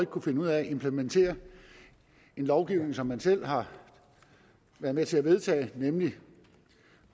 kunnet finde ud af at implementere en lovgivning som man selv har været med til at vedtage nemlig